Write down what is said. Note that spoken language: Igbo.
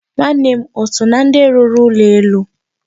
Nwanne m o so na ndị rụrụ ụlọ elu?